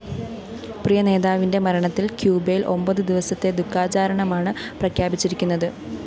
പ്രിയനേതാവിന്റെ മരണത്തില്‍ ക്യൂബയില്‍ ഒമ്പതു ദിവസത്തെ ദുഖാചരണമാണ് പ്രഖ്യാപിച്ചിരിക്കുന്നത്